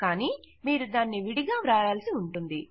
కానీ మీరు దాన్ని విడిగా వ్రాయాల్సి ఉంటుంది